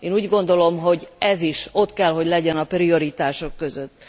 Én úgy gondolom, hogy ez is ott kell, hogy legyen a prioritások között.